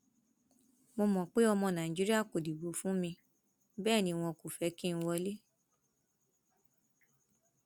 mo mọ pé pọ ọmọ nàìjíríà kò dìbò fún mi bẹẹ ni wọn kò fẹ kí n wọlé